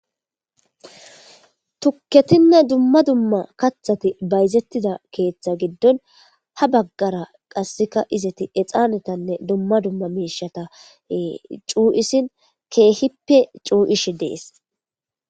Tukketinne dumma dumma kathati bayzettida keeththa giddon ha baggara qasseka izati exaanetanne dumma dumma meishata cuu7isin keehippe cuu7ishi dees.